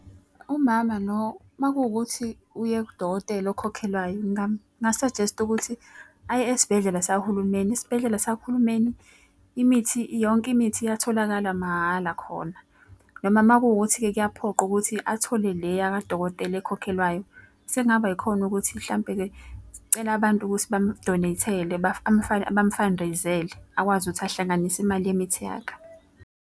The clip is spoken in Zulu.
Umama lo uma kuwukuthi uye kudokotela okhokhelwayo nginga-suggest-a ukuthi aye esibhedlela sahulumeni. Esibhedlela sahulumeni imithi yonke imithi iyatholakala mahhala khona. Noma uma kuwukuthi kuyaphoqa ukuthi athole le yakadokotela ekhokhelwayo, sekungaba ikhone ukuthi mhlampe-ke scela abantu ukuthi bam-donate-ele bam-fundraise-ele. Akwazi ukuthi ahlanganise imali yemithi yakhe.